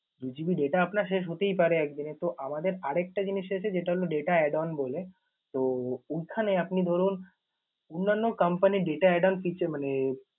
দু GB data আপনার শেষ হতেই পারে একদিনে। তো আমাদের আর একটা জিনিস আছে যেটা হল data add on বলে, তো ওইখানে আপনি ধরুন অন্যান্য company র data add on feature মানে